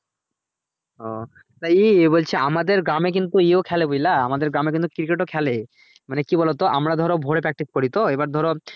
তো ই বলছি আমাদের গ্রামে কিন্তু ইয়ো খেলে বুঝলা আমাদের গ্রামে কিন্তু cricket ও খেলে মানে কি বলতো আমরা ধরো ভোরে practice করিতো এবার ধরো